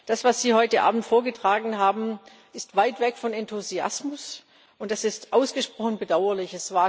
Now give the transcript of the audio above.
Das, was Sie heute Abend vorgetragen haben, ist weit weg von Enthusiasmus, und das ist ausgesprochen bedauerlich.